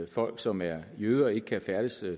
folk som er jøder ikke kan færdes